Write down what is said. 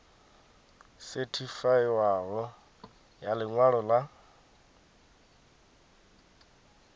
sethifaiwaho ya ḽi ṅwalo ḽa